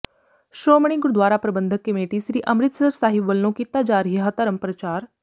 Shiromani Gurdwara Parbandhak committee Sri Amritsar Sahib ਵਲੋਂ ਕੀਤਾ ਜਾ ਰਿਹਾ ਧਰਮ ਪ੍ਰਚਾਰ